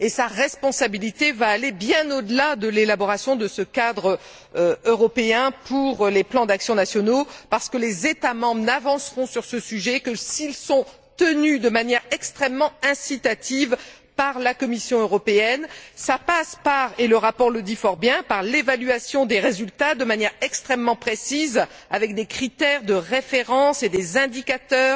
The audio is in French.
Sa responsabilité ira bien au delà de l'élaboration de ce cadre européen pour les plans d'action nationaux parce que les États membres n'avanceront sur ce sujet que s'ils y sont tenus de manière extrêmement incitative par la Commission européenne. Cela passe et le rapport le dit fort bien par l'évaluation des résultats de manière extrêmement précise, avec des critères de référence et des indicateurs.